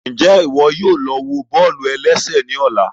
Njẹ iwọ yóò lọ wọ bọ́ọ̀lù-ẹlẹ́sẹ̀ ní ọ̀la?